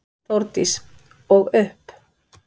Þórdís: Og upp?